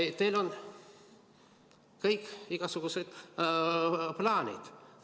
Teil on igasugused plaanid.